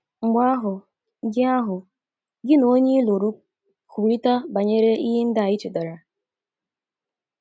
Mgbe ahụ, gị ahụ, gị na onye i lụrụ kwurịta banyere ihe ndị a i chetara.